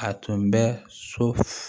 A tun bɛ so